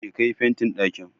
Je ka yi fentin ɗakin